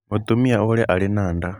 Mũtumia ũrĩa arĩ na nda.